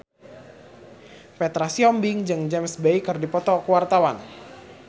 Petra Sihombing jeung James Bay keur dipoto ku wartawan